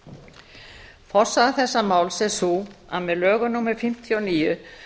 fyrirgefðu forsaga þessa máls er sú að með lögum númer fimmtíu og níu tvö